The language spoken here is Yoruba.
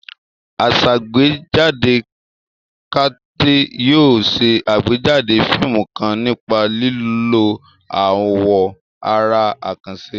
Asàgbéjáde Kate yóò ṣe àgbéjáde fíìmù kan nípa lílo àwọn àrà àkànṣe.